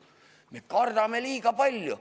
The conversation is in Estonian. Me kardame liiga palju.